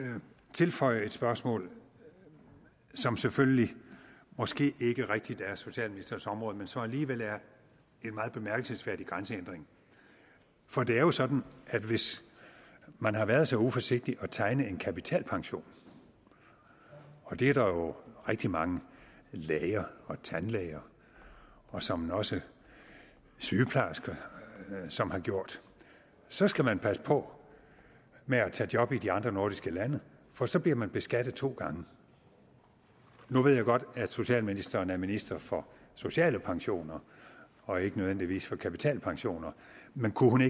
tilføje et spørgsmål som selvfølgelig måske ikke rigtig er socialministerens område men som alligevel er en meget bemærkelsesværdig grænsehindring for det er jo sådan at hvis man har været så uforsigtig at tegne en kapitalpension og det er der jo rigtig mange læger og tandlæger og såmænd også sygeplejersker som har gjort så skal man passe på med at tage job i de andre nordiske lande for så bliver man beskattet to gange nu ved jeg godt at socialministeren er minister for sociale pensioner og ikke nødvendigvis for kapitalpensioner men kunne